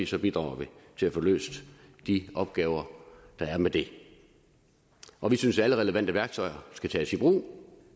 så bidrager vi til at få løst de opgaver der er med det og vi synes at alle relevante værktøjer skal tages i brug